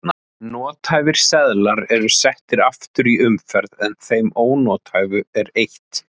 Nothæfir seðlar eru settir aftur í umferð en þeim ónothæfu er eytt.